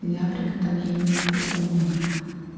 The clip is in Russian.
для приготовления куркумы